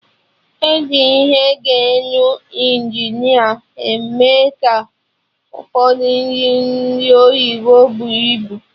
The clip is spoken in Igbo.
Eji ihe geenu Injineer eme ka Ụfọdụ nri ndị oyibo buo ibu